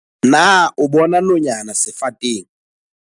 Na o bona nonyana sefateng?